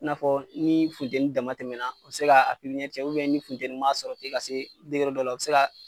I n'a fɔ ni funtɛni dama tɛmɛna o bɛ se ka pipiniyɛri cɛn ni funtɛni ma sɔrɔ ka se degere dɔ la, o bɛ se ka